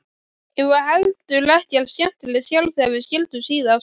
Ég var heldur ekkert skemmtileg sjálf þegar við skildum síðast.